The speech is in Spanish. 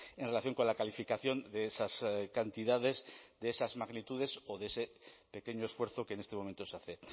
en relación con la calificación de esas cantidades de esas magnitudes o de ese pequeño esfuerzo que en este momento se hace